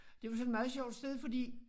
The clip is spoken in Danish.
Det var sådan meget sjovt sted fordi